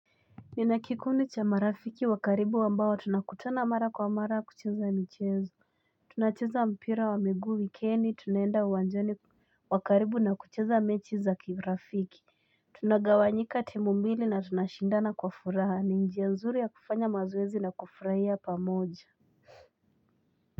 Ninakikundi cha marafiki wakaribu wambawa tunakutana mara kwa mara kucheza michezo. Tunacheza mpira wa miguu wikeni. Tunaenda uanjani wakaribu na kucheza mechi za kibrafiki. Tunagawanjika temumbili na tunashindana kwa furaha. Ni njia nzuri ya kufanya mazoezi na kufuraya pa moja.